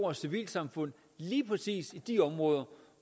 og civilsamfund lige præcis i de områder